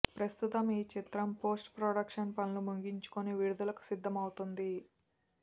ప్రస్తుంతం ఈ చిత్రం post production పనులు ముగించుకుని విడుదలకు సిద్ధమవుతోంది